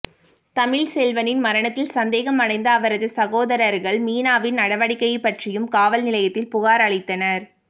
தமிழ்செல்வனின் மரணத்தில் சந்தேகம் அடைந்த அவரது சகோதரர்கள் மீனாவின் நடவடிக்கை பற்றியும் காவல் நிலையத்தில் புகார் அளித்தனர்